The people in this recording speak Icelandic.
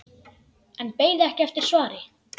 En beið ekki eftir svari.